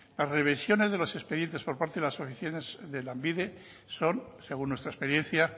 las revisiones de los expedientes por parte de las oficinas de lanbide son según nuestra experiencia